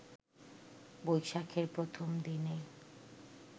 বৈশাখের প্রথম দিনে